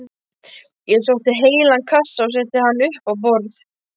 Ég sótti heilan kassa og setti hann upp á borð.